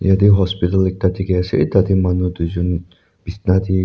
yete hospital ekta dikhi ase tate manu tuijun bisna de--